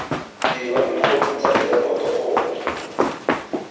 dirwa dikhopi tsa rekoto gongwe